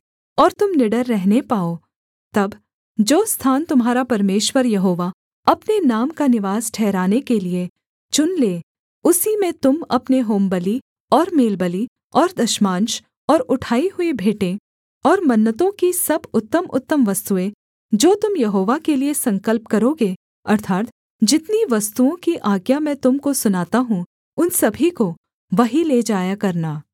और तुम निडर रहने पाओ तब जो स्थान तुम्हारा परमेश्वर यहोवा अपने नाम का निवास ठहराने के लिये चुन ले उसी में तुम अपने होमबलि और मेलबलि और दशमांश और उठाई हुई भेंट और मन्नतों की सब उत्तमउत्तम वस्तुएँ जो तुम यहोवा के लिये संकल्प करोगे अर्थात् जितनी वस्तुओं की आज्ञा मैं तुम को सुनाता हूँ उन सभी को वहीं ले जाया करना